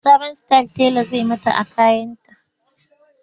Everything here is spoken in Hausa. Sabon style tela zai yi mata a kayanta.